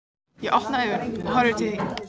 Ég opna augun og horfi í þín.